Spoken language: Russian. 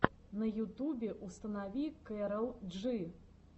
на ютубе установи кэрол джи